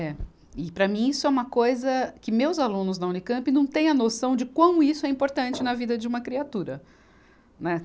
É, e para mim isso é uma coisa que meus alunos da Unicamp não tem a noção de quão isso é importante na vida de uma criatura, né.